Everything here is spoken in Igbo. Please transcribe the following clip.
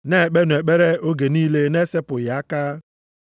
Na-ekpenụ ekpere oge niile na-esepụghị aka.